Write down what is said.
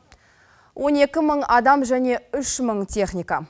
он екі мың адам және үш мың техника